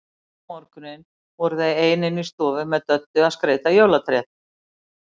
Seinna um morguninn voru þau ein inni í stofu með Döddu að skreyta jólatréð.